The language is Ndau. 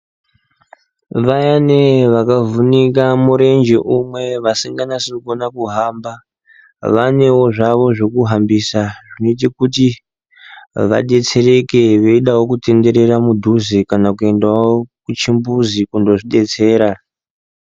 Vayani vakavhunika murenje umwe asinganasikoni kuhamba vanezvavowo zvekuhambisa nechekuti vadetsereke vedawo kutenderera mudhuze kana kuendawo kuchimbuzi kundozvidetsera.